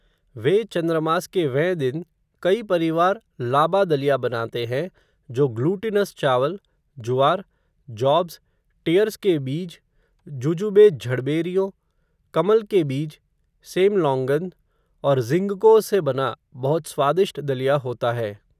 वे चंद्रमास के वें दिन, कई परिवार, लाबा दलिया बनाते हैं, जो ग्लूटिनस चावल, जुवार, जॉब्स, टियर्स के बीज, जुजुबे झड़बेरियो, कमल के बीज, सेम लॉन्गन, और ज़िंगको से बना, बहुत स्वादिष्ट दलिया होता है